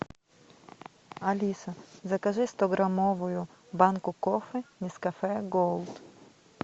алиса закажи стограммовую банку кофе нескафе голд